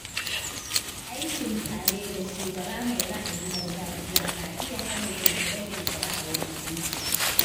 Aikin tare da shugaba mai ra’ayin gargajiya na iya hana kirkire-kirkire a wurin aiki.